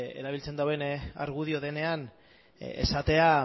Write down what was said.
erabiltzen duen argudioa denean esatea